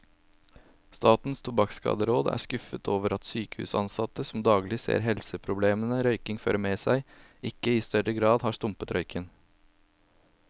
Statens tobakkskaderåd er skuffet over at sykehusansatte, som daglig ser helseproblemene røykingen fører med seg, ikke i større grad har stumpet røyken.